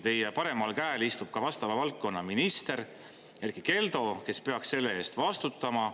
Teie paremal käel istub ka vastava valdkonna minister Erkki Keldo, kes peaks selle eest vastutama.